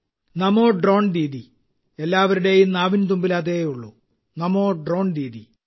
നമോ drone Didi എല്ലാവരുടെയും നാവിൻ തുമ്പിൽ അതേയുള്ളൂ നമോ ഡ്രോൺ ദീദി